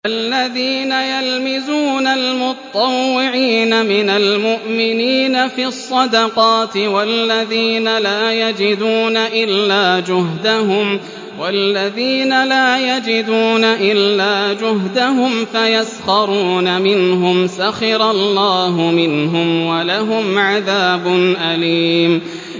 الَّذِينَ يَلْمِزُونَ الْمُطَّوِّعِينَ مِنَ الْمُؤْمِنِينَ فِي الصَّدَقَاتِ وَالَّذِينَ لَا يَجِدُونَ إِلَّا جُهْدَهُمْ فَيَسْخَرُونَ مِنْهُمْ ۙ سَخِرَ اللَّهُ مِنْهُمْ وَلَهُمْ عَذَابٌ أَلِيمٌ